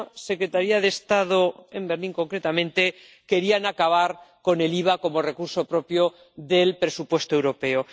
secretaría de Estado, en Berlín concretamente, querían acabar con el IVA como recurso propio del presupuesto europeo.